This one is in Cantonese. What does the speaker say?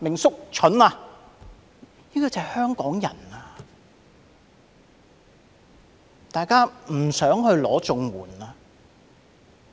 是因為香港人不想申領綜援。